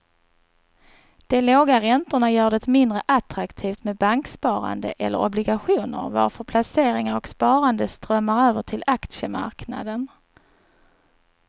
De låga räntorna gör det mindre attraktivt med banksparande eller obligationer varför placeringar och sparande strömmar över till aktiemarknaden.